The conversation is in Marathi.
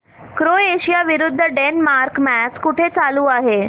क्रोएशिया विरुद्ध डेन्मार्क मॅच कुठे चालू आहे